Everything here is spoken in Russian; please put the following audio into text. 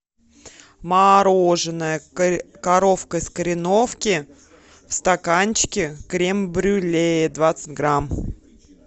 мороженое коровка из кореновки в стаканчике крем брюле двадцать грамм